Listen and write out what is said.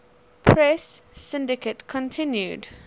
press syndicate continued